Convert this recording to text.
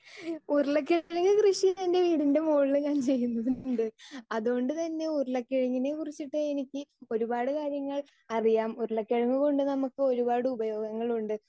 speaker 2 ഉരുളക്കിഴങ്ങ് കൃഷി എൻ്റെ വീടിൻ്റെ മുകളിൽ ഞാൻ ചെയ്യുന്നുണ്ട് അതുകൊണ്ട് താനെ ഉരുളക്കിഴങ്ങിനെ കുറിച്ചിട്ട് ഒരുപാട് കാര്യങ്ങൾ അറിയാം ഉരുളകിഴങ്ങ് കൊണ്ട് നമുക്ക് ഒരുപാട് ഉപയോഗങ്ങൾ ഉണ്ട്